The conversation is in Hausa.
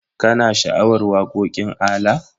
Kana sha'awar waƙoƙin ALA?